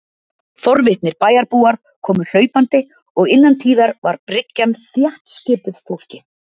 Forvitnir bæjarbúar komu hlaupandi, og innan tíðar var bryggjan þéttskipuð fólki.